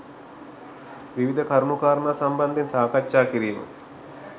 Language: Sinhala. විවිධ කරුණු කාරණා සම්බන්ධයෙන් සාකච්ඡා කිරීම